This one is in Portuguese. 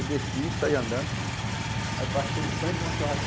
Eu desci, saí andando, aí passei em frente a uma